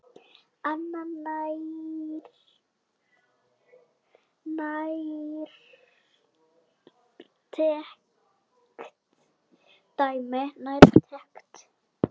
Annað nærtækt dæmi.